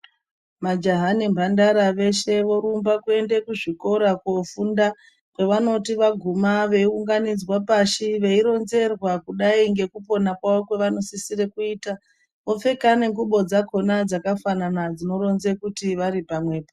Majaha nemhandara veshe vorumba kuende kuzvikora kofunda ,kwevanoti vaguma veiunganidzwa pashi veironzerwa kudai ngekupona kwavo kwavanosisire kuita, vopfeka nengubo dzakhona dzakafanana dzinoronze kuti vari pamwepo..